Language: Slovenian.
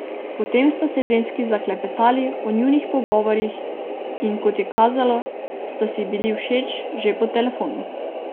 Potem sta se ženski zaklepetali o njunih pogovorih in kot je kazalo, sta si bili všeč že po telefonu.